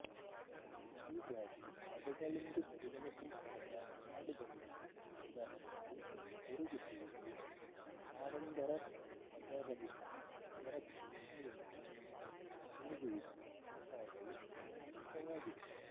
ಹೀಗಾಗಿ ಪದಗಳೆಂದು ಪರಿಗಣಿಸಲ್ಪಡದ ಆಡುದನಿಗಳು ಉದಾಹರಣೆಗೆ ಗುರುಗುಟ್ಟುವಿಕೆ ಹಾಡೊಂದರ ಪದರಹಿತ ಸ್ವರಚಿಹ್ನೆಯೊಂದರ ಗುನುಗುವಿಕೆ ಮುಂತಾದವು ಅಮೌಖಿಕವಾಗಿವೆ